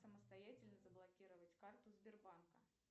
самостоятельно заблокировать карту сбербанка